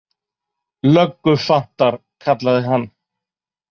Löggufjandar, kallaði hann.